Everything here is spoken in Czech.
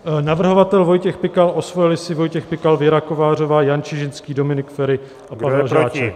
Navrhovatel Vojtěch Pikal, osvojili si Vojtěch Pikal, Věra Kovářová, Jan Čižinský, Dominik Feri a Pavel Žáček.